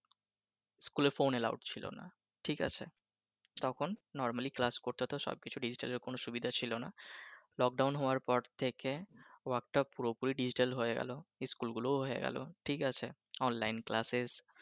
স্কুলে phone allowed ছিলও নাহ তখন normally class করতে হতো সবকিছু ডিজিটালের কন সুযোগ ছিলো নাহ lockdown পর থেকে work টা পুরপরি ডিজিটাল হয়ে গেলো স্কুল গুলোও হয়ে গেলো ঠিক আছে online classes